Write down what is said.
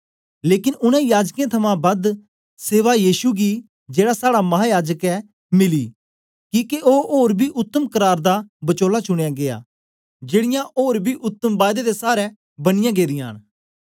लेकन उनै याजकें थमां बद सेवा यीशु जेड़ा साड़ा महायाजक ऐ मिली किके ओ ओर बी उत्तम करार दा बचोला चुनयां गीया जेड़ीयां ओर उतम बायदे दे सारै बनियाँ गेदियां न